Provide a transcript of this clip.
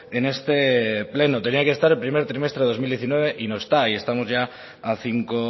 en este pleno tenía que estar el primer trimestre de dos mil diecinueve y no está y estamos ya a cinco